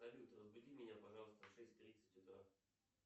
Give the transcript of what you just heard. салют разбуди меня пожалуйста в шесть тридцать утра